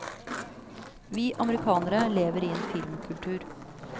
Vi amerikanere lever i en filmkultur.